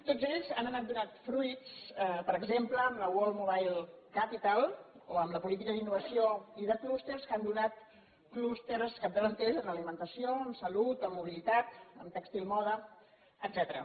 tots ells han anat donant fruits per exemple amb la world mobile capital o amb la política d’innovació i de clústers que han donat clústers capdavanters en ali·mentació en salut en mobilitat en tèxtil moda etcè·tera